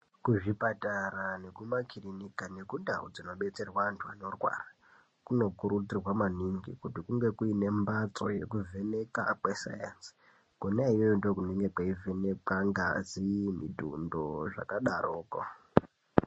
Kuzvipatara nemumakirika nekundau dzinobetserwa antu anorwara kunokurudzirwa maningi kuti kunge kune mhatso yekuvheneka kwesainzi. Kwona ikweyo ndokunenge kweivhenekwa ngazi, mitundo nezvakadarokwo.